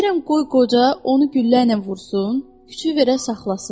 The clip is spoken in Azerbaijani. Deyirəm qoy qoca onu gülləylə vursun, küçüyü verə saxlasın.